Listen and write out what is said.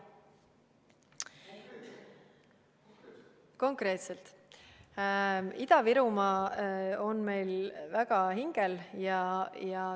Konkreetselt: Ida-Virumaa on meil väga hingel.